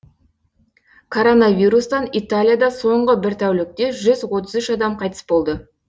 коронавирустан италияда соңғы бір тәулікте жүз отыз үш адам қайтыс болды